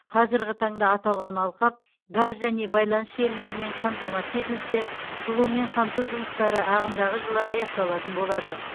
қазірғі таңда аталған алқап газ және байланыс желілерімен қамтамасыз етілсе жылумен қамту жұмыстары ағымдағы жылы аяқталатын болады